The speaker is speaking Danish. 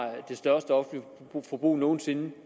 det største offentlige forbrug nogen sinde